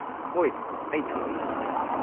ꯍꯣꯏ ꯑꯩ ꯈꯪꯉꯦ꯫